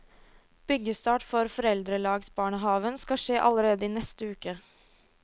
Byggestart for foreldrelagsbarnehaven skal skje allerede i neste uke.